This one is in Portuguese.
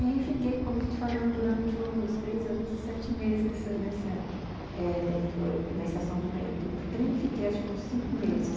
E fiquei, como eu te falei, durante os três anos e sete meses nesse nessa... eh dentro na estação do trem eu fiquei acho que uns cinco meses.